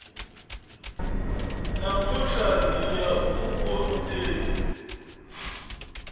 namuntlha hiya ku vhoteni